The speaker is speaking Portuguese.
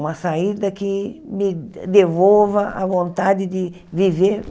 Uma saída que me devolva a vontade de viver.